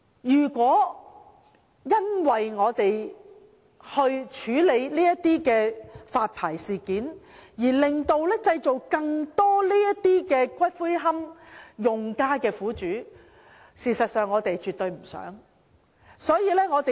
如因為處理龕場發牌事件的問題，製造出更多龕位用家的苦主，這絕非我們所願。